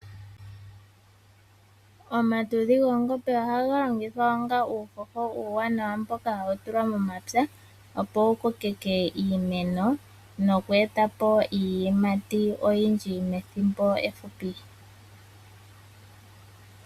Omatudhi goongombe ohaga longithwa onga uuhoho mboka uuwanawa, opo wu kokeke iimeno nokweetapo iiyimati oyindji methimbo efupi.